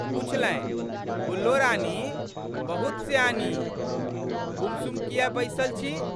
पुछलनि, गुल्लो रानी बहुत सयानी, गुमसुम कियै बैसल छी?